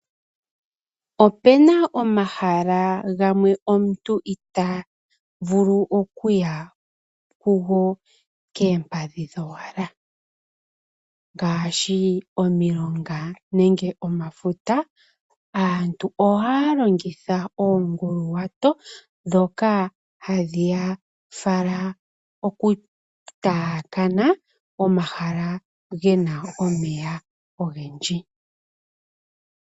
Opena omahala gamwe omuntu itaa vulu okuya kugo keempadhi dhowala, ngaashi omilonga nenge omafuta. Aantu oha ya longitha oonguluwato dhono hadhi ya fala okutaakana omahala gena omeya ogendji.